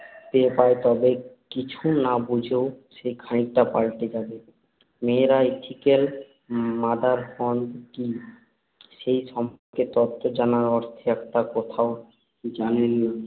পেয়ে যায়, তবে কিছু না বুঝেও সে খানিকটা পাল্টে যাবে। মেয়েরা ethical motherhood কী সে সম্পর্কে তত্ত্ব জানার অর্থে একটি কথাও জানেন না